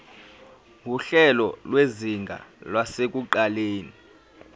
nguhlelo lwezinga lasekuqaleni